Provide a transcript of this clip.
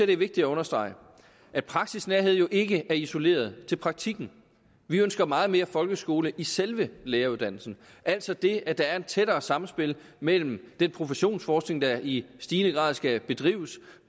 det er vigtigt at understrege at praksisnærhed jo ikke er isoleret til praktikken vi ønsker meget mere folkeskole i selve læreruddannelsen altså det at der er et tættere samspil mellem den professionsforskning der i stigende grad skal drives